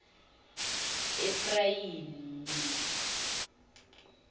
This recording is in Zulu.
efrayimi